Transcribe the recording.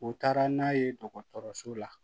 U taara n'a ye dɔgɔtɔrɔso la